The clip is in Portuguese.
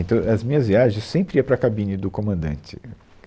Então, as minhas viagens eu sempre ia para a cabine do comandante.